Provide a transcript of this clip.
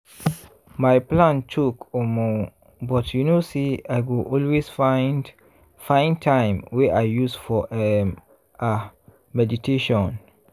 my plan choke omo!!! but you know say i go always find find time wey i use for um ah meditation.